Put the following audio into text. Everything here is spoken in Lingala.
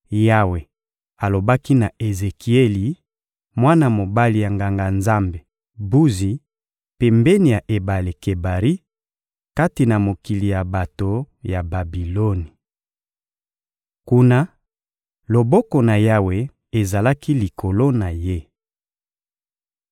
Yawe alobaki na Ezekieli, mwana mobali ya Nganga-Nzambe Buzi, pembeni ya ebale Kebari, kati na mokili ya bato ya Babiloni. Kuna, loboko na Yawe ezalaki likolo na ye.